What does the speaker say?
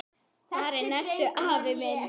Farinn ertu, afi minn.